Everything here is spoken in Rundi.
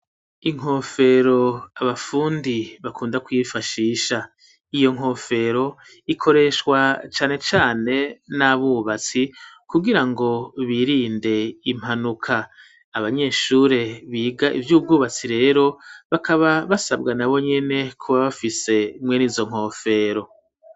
Inkofero abafundi bakunda kuyifashisha, iyo nkofero ikoreshwa cane cane n'abubatsi kugira ngo birinde impanuka ,abanyeshure biga ivy'ubwubatsi rero bakaba basabwa na bonyene kuba bafise mwe n'izo nkofero.